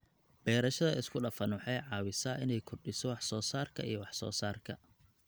Beerashada isku dhafan waxay caawisaa inay kordhiso wax soo saarka iyo wax soo saarka.